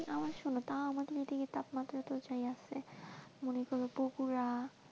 আমাদের এই দিকে শোনো তাহলে তাপমাত্রা এদিকে যাই আছে মনে করো বগুড়া।